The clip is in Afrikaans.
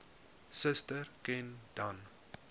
suster ken dan